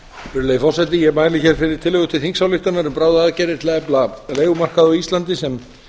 virðulegi forseti ég mæli hér fyrir tillögu til þingsályktunar um bráðaaðgerðir til að efla leigumarkað á íslandi sem